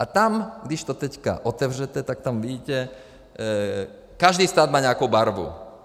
A tam, když to teď otevřete, tak tam vidíte, každý stát má nějakou barvu.